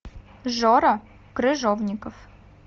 жора крыжовников